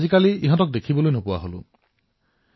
আগতে আমাৰ ঘৰৰ বেৰত ওচৰৰ গছবোৰত ঘৰচিৰিকা আছিল